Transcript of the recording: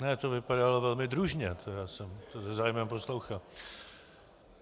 Ne, to vypadalo velmi družně, já jsem to se zájmem poslouchal.